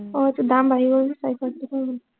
আহ এইটোৰ দাম বাঢ়ি গল যে, চাৰিশ আশী টকা হৈ গল